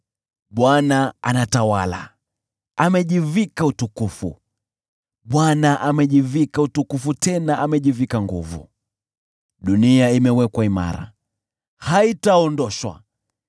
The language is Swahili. Bwana anatawala, amejivika utukufu; Bwana amejivika utukufu tena amejivika nguvu. Dunia imewekwa imara, haitaondoshwa.